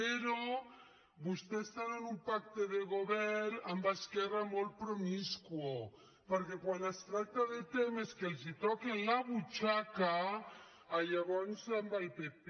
però vostès tenen pacte de govern amb esquerra molt pro·miscu perquè quan es tracta de temes que els toquen la butxaca llavors amb el pp